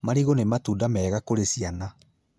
Marigũ nĩ matunda mega kũrĩ ciana